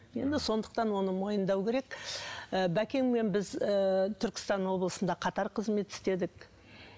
енді сондықтан оны мойындау керек ы бәкеңмен біз ыыы түркістан облысында қатар қызмет істедік